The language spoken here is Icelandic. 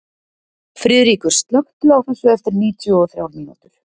Friðríkur, slökktu á þessu eftir níutíu og þrjár mínútur.